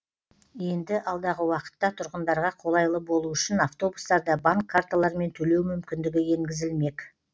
енді алдағы уақытта тұрғындарға қолайлы болуы үшін автобустарда банк карталырымен төлеу мүмкіндігі енгізілмек